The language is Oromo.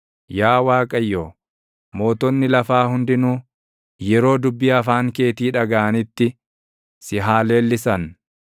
Yaa Waaqayyo, mootonni lafaa hundinuu, yeroo dubbii afaan keetii dhagaʼanitti si haa leellisan.